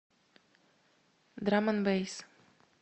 драм энд бэйс